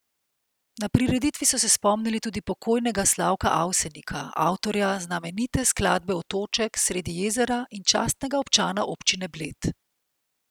Na prireditvi so se spomnili tudi pokojnega Slavka Avsenika, avtorja znamenite skladbe Otoček sredi jezera in častnega občana občine Bled.